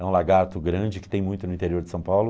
É um lagarto grande que tem muito no interior de São Paulo.